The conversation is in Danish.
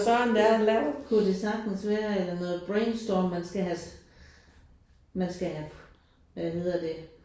Ja kunne det sagtens være eller noget brainstorm man skal have man skal have øh hvad hedder det